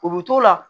U bɛ t'o la